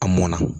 A mɔnna